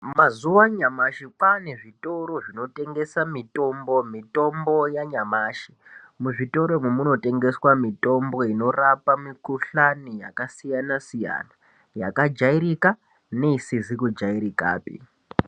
Mazuva anyamashi kwane zvitoro zvinotengesa mutimbo mitombo yanyamashi. Muzvitoro umu munotengeswa mitombo inorarapa mikuhlani yakasiyana-siyana yakajairika neisizi kujairikapi.